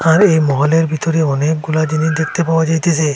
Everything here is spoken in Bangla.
আর এ মলের ভিতরে অনেকগুলা জিনিস দেখতে পাওয়া যাইতেসে।